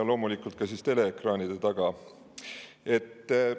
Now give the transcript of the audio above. Ja loomulikult ka teleekraanide taga olijad!